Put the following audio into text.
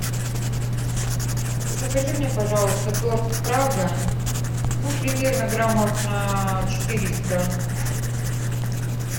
закажи мне пожалуйста торт прага ну примерно граммов на четыреста